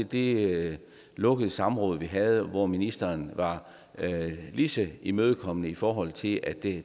det lukkede samråd vi havde hvor ministeren var lige så imødekommende i forhold til at det